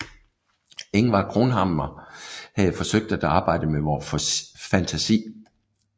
Ingvar Cronhammar havde forsøgt at arbejde med vor fantasi